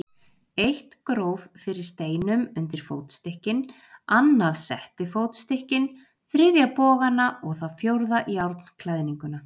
Eitt gróf fyrir steinum undir fótstykkin, annað setti fótstykkin, þriðja bogana og það fjórða járnklæðninguna.